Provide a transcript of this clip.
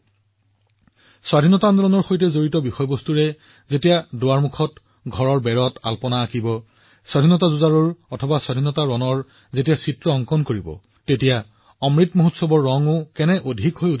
কল্পনা কৰক যেতিয়া স্বাধীনতা আন্দোলনৰ সৈতে সম্পৰ্কিত ৰংগোলীৰ সৃষ্টি হব মানুহে তেওঁলোকৰ দুৱাৰত দেৱালত ৰঙৰ দ্বাৰা এজন স্বাধীনতানিৰ্মাতাৰ ছবি আঁকিব অমৃত মহোৎসৱৰ ৰঙো বৃদ্ধি পাব